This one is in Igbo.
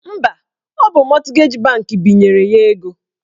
Mba, ọ bụ mọtgeji bankị binyere ya ego